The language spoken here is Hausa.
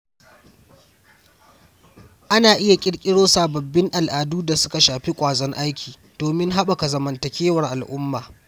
Ana iya ƙirƙiro sababbin al’adu da suka shafi ƙwazon aiki domin haɓaka zamantakewar al'umma.